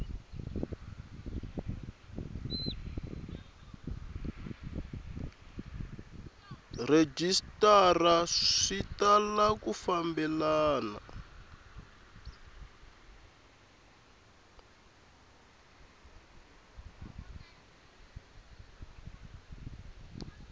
rhejisitara swi tala ku fambelana